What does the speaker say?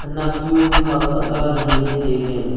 khenak chu mihhok aga ngan le tai ley.